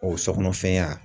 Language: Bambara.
O so kɔnɔfɛnya.